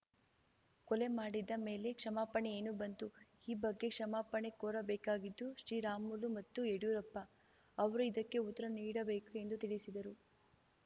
ಕೊಲೆ ಮಾಡಿದ ಮೇಲೆ ಕ್ಷಮಾಪಣೆ ಏನು ಬಂತು ಈ ಬಗ್ಗೆ ಕ್ಷಮಾಪಣೆ ಕೋರಬೇಕಾಗಿದ್ದು ಶ್ರೀರಾಮುಲು ಮತ್ತು ಯಡ್ಯೂರಪ್ಪ ಅವರು ಇದಕ್ಕೆ ಉತ್ತರ ನೀಡಬೇಕು ಎಂದು ತಿಳಿಸಿದರು